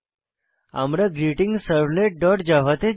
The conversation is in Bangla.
আমরা greetingservletজাভা তে যাই